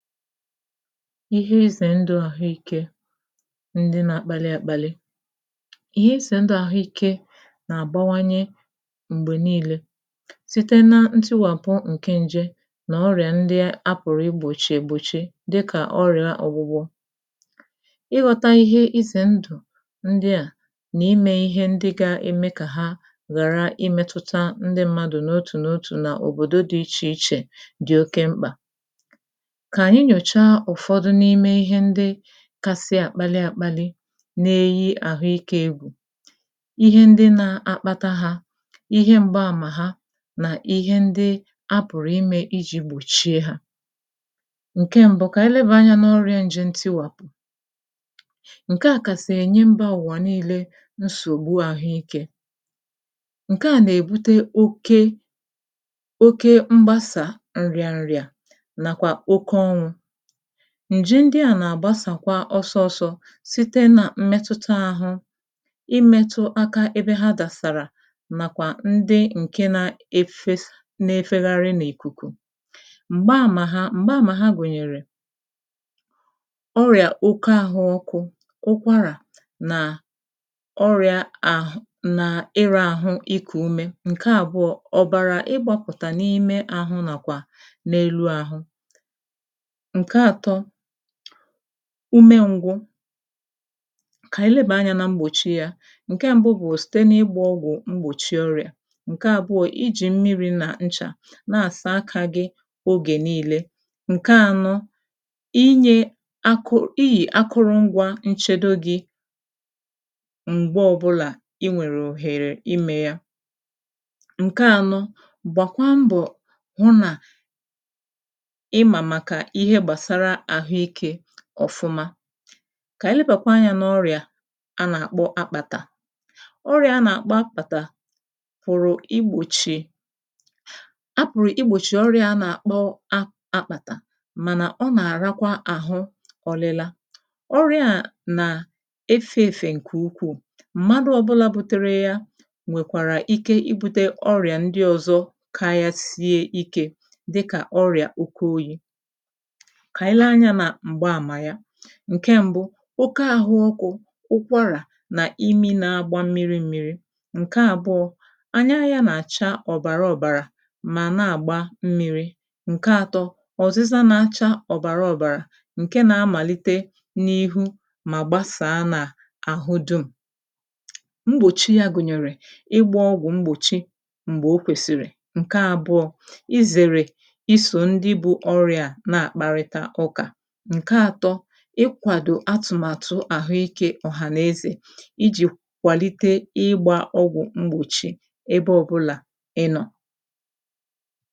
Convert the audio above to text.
ihe izè ndu àhụikē ndị na-akpalị àkpalị ihe izè ndu àhụikē nà-àgbawanye m̀gbè niilē site na ntụwàpụ nke nje nà ọrịà ndị a pùrù igbòchi ègbochi dịkà ọrịa ọ̀gwụgwọ ịghọta ihe izèndu ndịa nà imē ihe ndị ga-eme kà ha ghàra imētụta ndị mmadụ̀ n’otù n’otù n’òbòdò di ichè ichè di oke mkpà kà aǹyị nyòcha ụ̀fọdụ n’ime ihe ndị kasị àkpalị àkpalị na-eyi àhụike egwù ihe ndị nà-akpata ha ihe m̀gba àmà ha nà ihe ndị a pùrù imē ijī gbòchie ha ǹke mbu kà anyị lebà anyā n’ọrịā njè ntịwàpụ ǹke a kàsị̀ ìnye mbà niilē nsògbu àhụike ǹke a nà-èbute oke oke mgbasà ǹrịàrịà nàkwà oke ọrụ̄ ǹje ndịa nà-àgbasàkwa ọsọ ọ̀sọ site nà mmetụta àhụ imētu aka ebe ha dàsàrà màkwà ndị ǹkè na efesà na-efegharị n’ìkùkù m̀gbaàmà ha gùnyèrè ọrịà oke àhụ ukwu ụkwarà nà ọrịà àhụ nà ịrāhụ ikù ume ǹke àbụọ ọ̀bàrà ịgbāpụ̀tà n’ime àhụ nà n’elu àhụ ǹke àtọ ume ǹgwu kà ànyị lebà anyā na mgbòchi yā ǹke mbu bụ̀ site n’ịgbà ọgwụ̀ mgbòchi ọ̀rịà ǹke àbụọ ijì mmịrị̄ nà nchà na-àsa akā gi ogè niilē ǹke ànọ inye akụ iyì akụrụ̄ ngwā nchedo gi m̀gbe ọbụnà i nwèrè òhèrè imē ya ǹke ànọ gbàkwa mbọ̀ hụ nà ịmà màkà ihe gbàsara àhụike ọ̀fụma kà anyị lebàkwa anya n’ọrịà a nà-àkpọ akpàtà ọrịà a nà-àkpọ akpàtà fòrò igbochì a pụ̀rụ̀ igbòchi ọrịā a nà-àkpọ a akpàtà mànà ọ nà-àrakwa àhụ ọlịla ọrịa a na efē èfè m̀madụ ọ̀bụla butere yā nwèkwàrà ike ibūte ọrịà ndị ọ̀zọ karịa ikē dịkà ọrịà ukwu oyī kà anyị lee anyā nà m̀gbaàmà ya ǹke mbu okē àhụ ọkụ̄ ụkwàrà nà imi na-agba mmịrị mmịrị ǹke àbụọ anya ya nà-àchà ọ̀bàrà ọbàrà mà na-àgba mmịrị̄ ǹke àtọ ọ̀zịza na-acha ọ̀bàra ọ̀bàrà ǹke na-amàlite n’ihu mà gbasaa nà àhụ dum mgbòchi ya gùnyèrè ịgbā ọgwụ̀ mgbòchi m̀gbè ọ kwèsìrì ǹke àbụọ izèrè isò ndị bū ọrịa na-àkparịta ụkà ǹke àtọ ịkwàdo atụ̀matụ àhụike ọhànaezè iji kwàlite ịgbā ọgwụ̀ mgbòchi ebe ọ̀bụla ị nọ̀